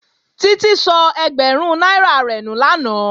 Títí sọ ẹgbẹ̀rún náírà rẹ̀ nù lánàá